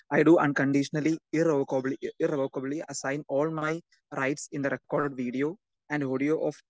speaker 2 I do unconditionally irrevocably irrevocably assign all my rights in the record video and audio of